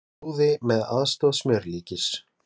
Flúði með aðstoð smjörlíkis